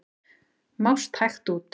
Mást hægt út.